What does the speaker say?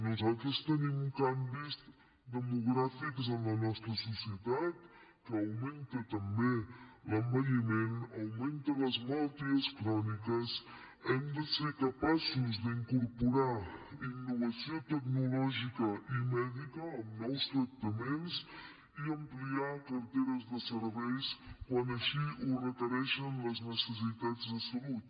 nosaltres tenim canvis demogràfics en la nostra societat que augmenta també l’envelliment augmenten les malalties cròniques hem de ser capaços d’incorporar innovació tecnològica i mèdica amb nous tractaments i ampliar carteres de serveis quan així ho requereixen les necessitats de salut